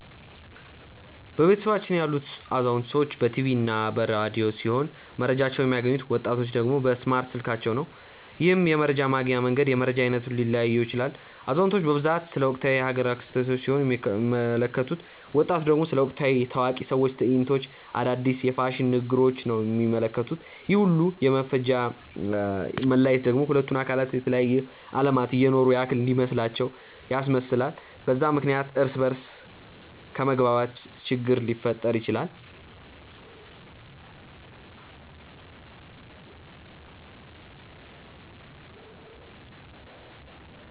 በቤተሰባችን ያሉት አዛውንቶች በ ቲቪ እና በ ረዲዮ ሲሆም መረጃቸውን የሚያገኙት፤ ወጣቲቹ ደግሞ በእስማርት ስልካቸው ነው። ይህም የመረጃ ማግኛ መንገድ የመረጃ አይነቱን ሊለያየው ይችላል። አዛውንቲቹ በብዛት ስለ ወቅታዊ የ ሃገር ክስተቶች ሲሆን የሚመለከቱት፤ ወጣቱ ደግሞ ስለ ወቅታዊ የ ታዋቂ ሰዎች ትዕይንቶች፣ አዳዲስ የ ፋሽን ንግግሪች ነው የሚመለከቱት፤ ይህ ሁላ የ መፈጃ መለያየት ደግሞ ሁለቱን አካላት የተለያየ አለማት እየኖሩ ያክል እንዲመስላቸው ያስመስላል፤ በዛም ምክንያት እርስ በ እርስ ከመግባባት ችግር ሊፈጠር ይችላል።